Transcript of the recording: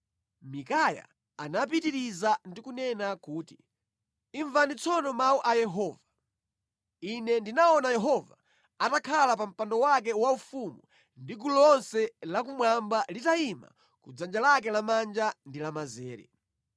Mikaya anapitiriza ndi kunena kuti, “Imvani tsono mawu a Yehova: Ine ndinaona Yehova atakhala pa mpando wake waufumu ndi gulu lonse lakumwamba litayima ku dzanja lake lamanja ndi lamanzere.